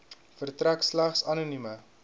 verstrek slegs anonieme